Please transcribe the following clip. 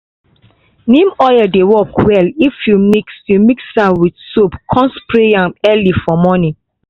neem oil dey work well if you mix mix am with soap come spray am early for morning.